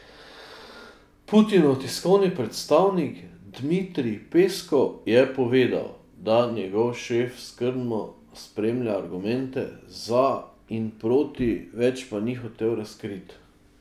Putinov tiskovni predstavnik Dmitrij Peskov je povedal, da njegov šef skrbno spremlja argumente za in proti, več pa ni hotel razkriti.